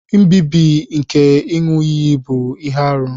Nbibi nke iṅu-iyi bu ihe-árú.